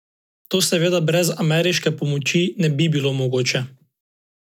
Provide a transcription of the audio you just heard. To seveda brez ameriške pomoči ne bilo mogoče.